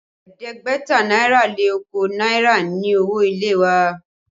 Ẹ̀ẹ́dẹ́gbẹ̀ta náírà lé okòó náírà ni owó ilé wa